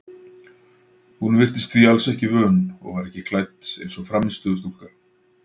Hún virtist því alls ekki vön og var ekki klædd eins og frammistöðustúlka.